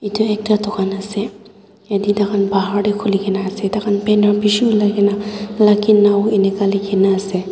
itu ekta dukan ase yetey tai khan bahar tey khuli kena ase takha banner bishi uli na luckynow inika likhi nah ase.